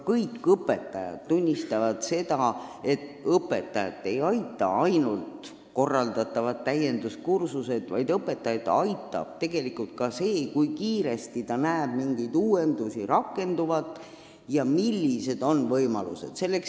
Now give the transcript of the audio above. Kõik õpetajad tunnistavad, et õpetajat ei aita ainult korraldatavad täienduskursused, vaid õpetajat aitab ka see, kui ta näeb mingeid uuendusi kiiresti rakenduvat ja näeb, millised on võimalused.